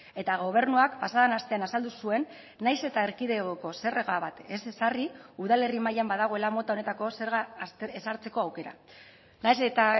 eta gobernuak pasa den astean azaldu zuen nahiz eta erkidegoko zerga bat ez ezarri udalerri mailan badagoela mota honetako zerga ezartzeko aukera nahiz eta